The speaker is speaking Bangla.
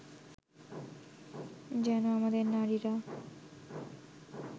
যেন আমাদের নারীরা